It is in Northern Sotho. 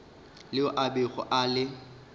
leo a bego a le